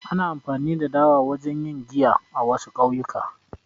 Ana amfani da dawa wajen yin giya a, wasu ƙauyuka